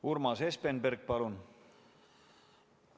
Urmas Espenberg, palun!